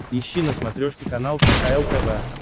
ищи на смотрешке канал кхл тв